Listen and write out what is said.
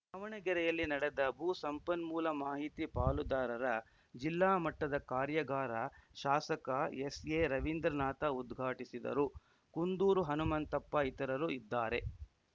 ದಾವಣಗೆರೆಯಲ್ಲಿ ನಡೆದ ಭೂ ಸಂಪನ್ಮೂಲ ಮಾಹಿತಿ ಪಾಲುದಾರರ ಜಿಲ್ಲಾ ಮಟ್ಟದ ಕಾರ್ಯಾಗಾರ ಶಾಸಕ ಎಸ್‌ಎರವೀಂದ್ರನಾಥ ಉದ್ಘಾಟಿಸಿದರು ಕುಂದೂರು ಹನುಮಂತಪ್ಪ ಇತರರು ಇದ್ದಾರೆ